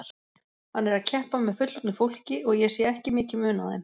Hann er að keppa með fullorðnu fólki og ég sé ekki mikinn mun á þeim.